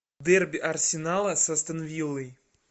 дерби арсенала с астон виллой